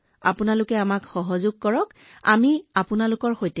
আপোনালোকে আমাক সমৰ্থন কৰক আমি আপোনালোকক সমৰ্থন কৰিম